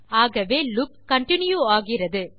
ஆகவே loop continue ஆகிறது